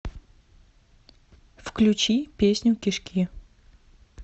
включи песню кишки